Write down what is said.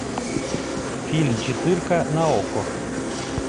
фильм четырка на окко